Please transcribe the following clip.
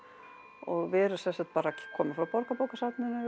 og við erum sem sagt bara komum frá Borgarbókasafninu